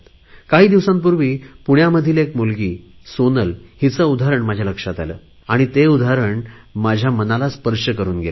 काही दिवसापूर्वी पुण्यामधील एक मुलगी सोनलचे उदाहरण माझ्या लक्षात आले आणि ते उदाहरण माझ्या मनाला स्पर्श करुन गेले